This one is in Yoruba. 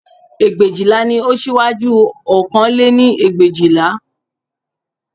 Ẹgbẹ̀éjìlá ni ó síwájú ọ̀kan lé ní ẹgbẹ̀éjìlá